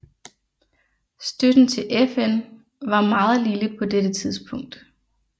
Støtten til FN var meget lille på dette tidspunkt